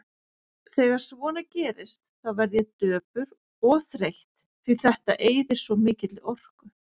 Þegar svona gerist þá verð ég döpur og þreytt, því þetta eyðir svo mikilli orku.